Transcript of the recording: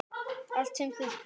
Allt sem þurfti.